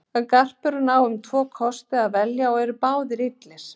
Garpurinn á um tvo kosti að velja og eru báðir illir.